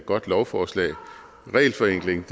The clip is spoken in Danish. godt lovforslag regelforenkling